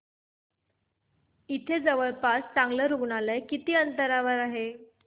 इथे जवळपास चांगलं रुग्णालय किती अंतरावर आहे